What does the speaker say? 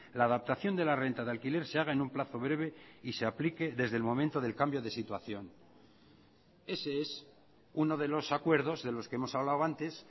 la adaptación de la renta de alquiler se haga en un plazo breve y se aplique desde el momento del cambio de situación ese es uno de los acuerdos de los que hemos hablado antes